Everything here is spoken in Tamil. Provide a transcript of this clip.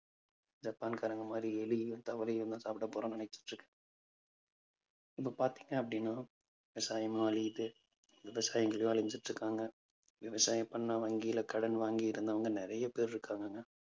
ஜப்பான்காரங்க மாதிரி எலியும் தவளையும்தான் சாப்பி போறோம்னு நினைச்சுட்டு இருக்கேன் . இப்ப பார்த்தீங்க அப்பிடின்னா விவசாயமும் அழியுது. விவசாயிங்களும் அழிஞ்சுட்டு இருக்காங்க. விவசாயம் பண்ணா வங்கியில கடன் வாங்கி இருந்தவங்க நிறைய பேர் இருக்காங்க